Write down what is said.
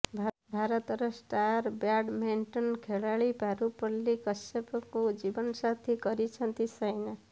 ଭାରତର star badminton ଖେଳାଳି ପାରୁପଲ୍ଲୀ କଶ୍ୟପଙ୍କୁ ଜୀବନସାଥୀ କରିଛନ୍ତି ସାଇନା